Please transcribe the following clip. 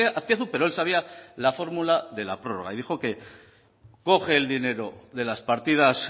azpiazu pero él sabía la fórmula de la prórroga y dijo que coge el dinero de las partidas